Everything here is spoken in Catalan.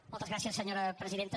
moltes gràcies senyora presidenta